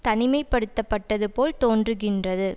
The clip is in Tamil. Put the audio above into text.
தனிமை படுத்த பட்டது போல் தோன்றுகின்றது